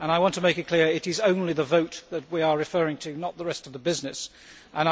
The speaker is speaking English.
I want to make it clear it is only the vote that we are referring to, and not the rest of the order of business.